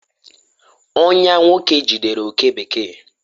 ọnyà nwoke jidere oke bekee